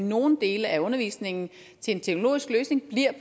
nogle dele af undervisningen til en teknologisk løsning